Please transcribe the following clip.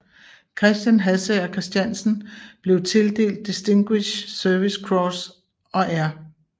Christian Hassager Christiansen blev tildelt Distinguished Service Cross og R